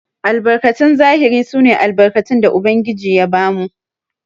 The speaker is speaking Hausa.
Albarkatun zahiri sune albarkatun da ubangiji ya bamu.